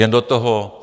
Jen do toho.